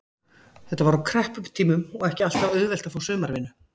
Þetta var á krepputímum og ekki alltaf auðvelt að fá sumaratvinnu.